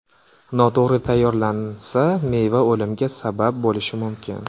Noto‘g‘ri tayyorlansa, meva o‘limga sabab bo‘lishi mumkin.